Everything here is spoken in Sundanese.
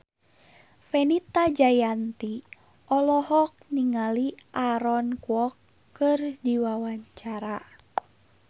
Fenita Jayanti olohok ningali Aaron Kwok keur diwawancara